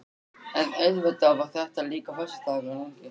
En auðvitað var það líka föstudagurinn langi.